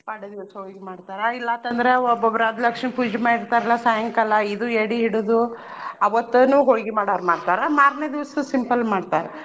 ಪಾಡ್ಯಾ ದಿವ್ಸ ಹೊಳ್ಗಿ ಮಾಡ್ತಾರಾ ಇಲ್ಲಾ ಆತ್ ಅಂದ್ರ ಒಬ್ಬೊಬ್ಬ್ರ ಅದ್ ಲಕ್ಷ್ಮೀ ಪೂಜಿ ಮಾಡಿರ್ತಾರ್ಲಾ ಸಾಯಂಕಾಲ ಇದು ಎಡಿ ಹಿಡದು ಅವತ್ತನೂ ಹೊಳ್ಗಿ ಮಾಡಾವ್ರ ಮಾಡ್ತಾರ. ಮಾರ್ನೆ ದಿವ್ಸ simple ಮಾಡ್ತಾರ.